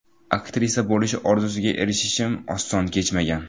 Aktrisa bo‘lish orzusiga erishishim oson kechmagan.